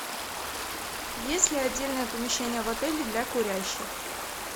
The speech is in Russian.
есть ли отдельное помещение в отеле для курящих